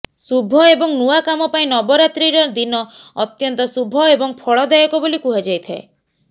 ଶୁଭ ଏବଂ ନୂଆ କାମ ପାଇଁ ନବରାତ୍ରିର ଦିନ ଅତ୍ୟନ୍ତ ଶୁଭ ଏବଂ ଫଳଦାୟକ ବୋଲି କୁହାଯାଇଥାଏ